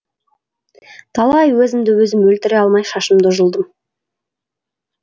талай өзімді өзім өлтіре алмай шашымды жұлдым